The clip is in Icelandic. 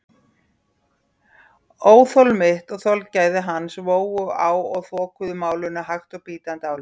Óþol mitt og þolgæði hans vógust á og þokuðu málinu hægt og bítandi áleiðis.